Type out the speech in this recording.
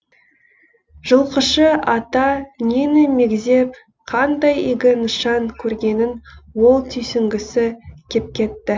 жылқышы ата нені мегзеп қандай игі нышан көргенін ол түйсінгісі кеп кетті